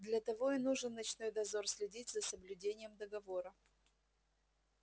для того и нужен ночной дозор следить за соблюдением договора